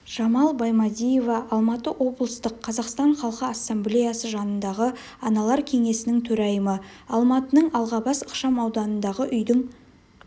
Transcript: жамал баймадиева алматы облыстық қазақстан халқы ассамблеясы жанындағы аналар кеңесінің төрайымы алматының алғабас ықшам ауданындағы үйдің